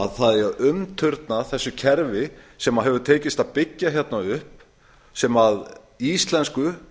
að umturna þessu kerfi sem hefur tekist að byggja hérna upp sem íslensku